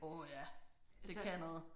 Åh ja det kan noget